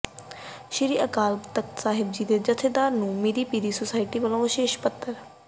ਸ੍ਰੀ ਅਕਾਲ ਤਖ਼ਤ ਸਾਹਿਬ ਜੀ ਦੇ ਜਥੇਦਾਰ ਨੰੂ ਮੀਰੀ ਪੀਰੀ ਸੁਸਾਇਟੀ ਵਲੋਂ ਵਿਸ਼ੇਸ਼ ਪੱਤਰ